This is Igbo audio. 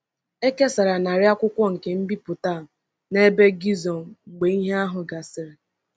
E kesara narị akwụkwọ nke mbipụta a n’ebe Gizo mgbe ihe ahụ gasịrị.